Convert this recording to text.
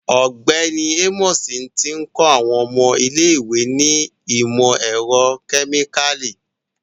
Ọgbẹni Amos ti n kọ awọn ọmọ ile-iwe ni imọ-ẹrọ kemikali